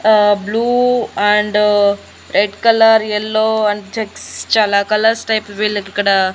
ఆ blue and red colour yellow and checks చాలా colours type వీళ్ళకి ఇక్కడ.